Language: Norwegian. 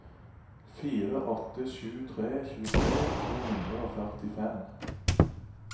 fire åtte sju tre tjuetre to hundre og førtifem